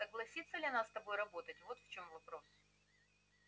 согласится ли она с тобой работать вот в чём вопрос